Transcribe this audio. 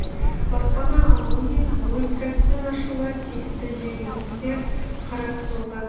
баспана алу мен өз кәсібін ашуға тиісті жеңілдіктер қарастырылған